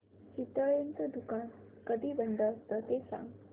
चितळेंचं दुकान कधी बंद असतं ते सांग